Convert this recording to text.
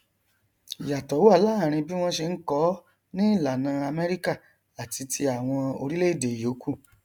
ìyàtọ wà láàrin bí wọn ṣe nkọ ọ ní ìlànà amẹríkà àti ti àwọn oríẹèdè ìyókù